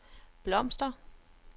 blomster